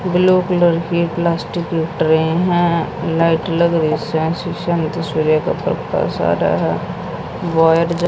blue colour की plastic की tray हैं लाइट लग रही से इसमें शीशे में सूर्य का प्रकाश आ रहा है वायर जल--